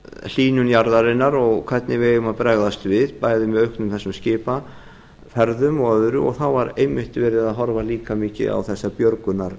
hlýnun jarðarinnar og hvernig við eigum að bregðast við bæði með þessum auknu skipaferðum og öðru og þá var einmitt verið að horfa líka mikið á þessar björgunar